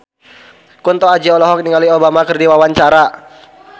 Kunto Aji olohok ningali Obama keur diwawancara